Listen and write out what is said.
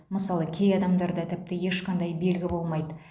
мысалы кей адамдарда тіпті ешқандай белгі болмайды